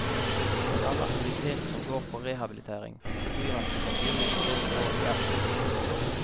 Men all aktivitet som går på rehabilitering, betyr at du må begynne på det nivået du er på.